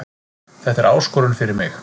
Þetta er áskorun fyrir mig